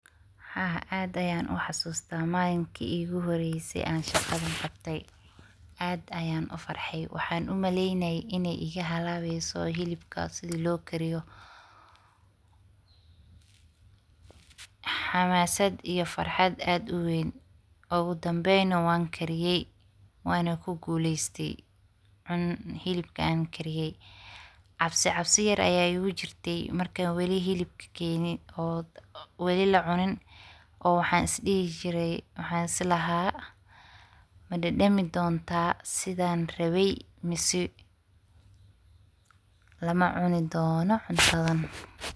Haa ad ayan uxasusta maninki iguhoreysi an shaqadan qabti, aad ayan ufarxay waxan umaleynay in ay igahalabeyso hileebka sidi lokariyo xamasad iyo farxad ad uweyn, ugadambey wankariyay wanakuguleysti helabka an kariyay cabsicabsi yar aya igujurti markan helabka geyay wili lacunin waxan islaha madadami donta sidan rabi mase lamacuni dono cuntadan.